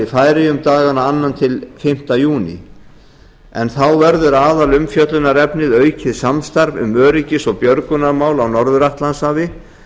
færeyjum dagana annað til fimmta júní en þá verður aðalumfjöllunarefnið aukið samstarf um öryggis og björgunarmál á norður atlantshafi